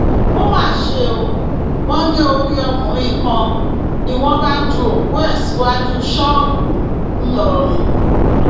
ó mà ṣe o wọn gé orí ọkùnrin kan ni wọn bá ju òkú ẹ síwájú ṣọọbù ńlọrọrìn